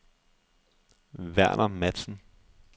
Verner Matzen